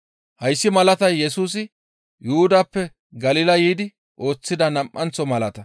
Hayssi malatay Yesusi Yuhudappe Galila yiidi ooththida nam7anththo malata.